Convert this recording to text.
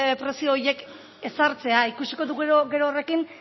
prezio horiek ezartzea ikusiko dugu gero horrekin